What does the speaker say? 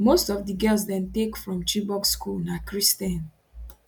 most of di girls dem take from chibok school na christian